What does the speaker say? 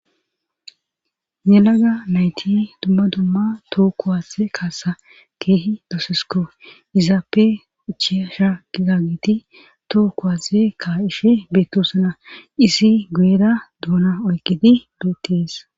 Yelaga nayti dumma dumma toho kuwase kaasa keehi doosesiko izaape uchiyasha igagiti too kuwase kaaishe beetosana isi guyera duuna oykidi beettees